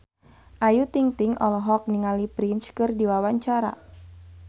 Ayu Ting-ting olohok ningali Prince keur diwawancara